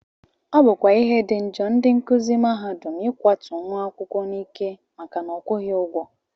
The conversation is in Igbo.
Ọ bụkwa ihe dị njọ ndị nkụzi mahadum ịkwatu nwa akwụkwọ n'ike maka na ọ kwụghị ụgwọ